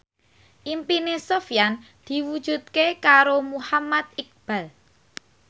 impine Sofyan diwujudke karo Muhammad Iqbal